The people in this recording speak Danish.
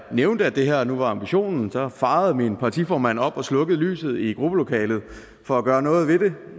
nævnte at det her nu var ambitionen så farede min partiformand op og slukkede lyset i gruppelokalet for at gøre noget